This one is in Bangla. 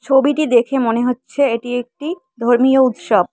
ছবিটি দেখে মনে হচ্ছে এটি একটি ধর্মীয় উৎসব।